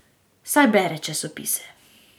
Saj bere časopise.